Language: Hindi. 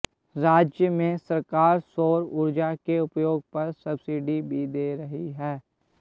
राज्य में सरकार सौर ऊर्जा के उपयोग पर सबसिडी भी दे रही है